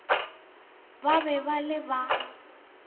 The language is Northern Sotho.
ba be ba le ba